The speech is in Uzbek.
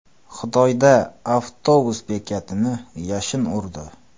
Xitoyda avtobus bekatini yashin urdi.